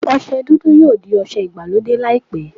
Ọsẹ dúdú yóò di ọsẹ ìgbàlódé laipẹ.